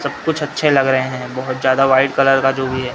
सब कुछ अच्छे लग रहे हैं बहोत ज़्यादा व्हाइट कलर का जो भी है।